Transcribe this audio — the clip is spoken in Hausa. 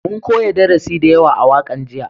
Mun koya darasi da yawa a wakan jiya